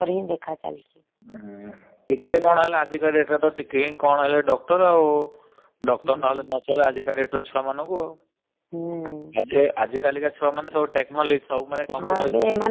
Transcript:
ଟିକେ କଣ ହେଲେ ଆଜିକ date ରେ ଟିକେ କଣ ହେଲେ doctor ଆଉ। doctor ନହେଲେ ନ ଚାଲେ ଆଜିକା ଛୁଆ ମାନଙ୍କୁ। ଆଜି କାଲିକା ଛୁଆ ମାନେ techology computer